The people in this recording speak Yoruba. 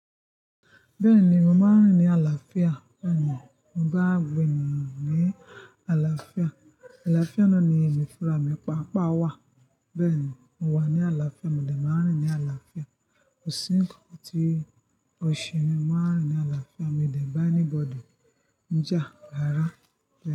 Bẹ́ẹ̀ni, mo máa ń rìn ní àlàáfíà. Bẹ́ẹ̀ní mo ba gbogbo ènìyàn rin ní àlàáfíà. Àlàáfíà náà ni èmi fún ra mi pàá pàá wá. Bẹ́ẹ̀ni, mo wà ní àlàáfíà, mo dẹ̀ máa ń rìn ní àlàáfíà. Kò sí nǹkan tí ó ṣe mí, mo máa ń rìn ní àlàáfíà. Mio dẹ̀ bá anybody jà rárá bẹ́ẹ̀.